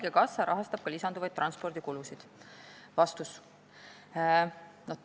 Kas haigekassa rahastab ka lisanduvaid transpordikulusid?